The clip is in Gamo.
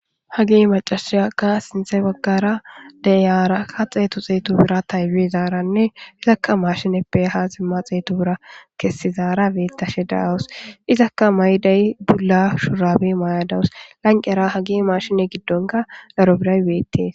hagi macashiyakka sinthe baggara deyaaraka xeetu xeetu bira taywi zaaranne izakka mashineppe ha zimma xeetu bira kessizaara beettashe daawus izakka mayday dula shurabi may7adawus lanqera hagi marshine giddonka laro biray beettees